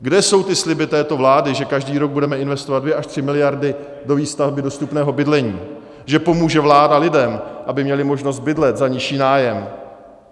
Kde jsou ty sliby této vlády, že každý rok budeme investovat dvě až tři miliardy do výstavby dostupného bydlení, že pomůže vláda lidem, aby měli možnost bydlet za nižší nájem?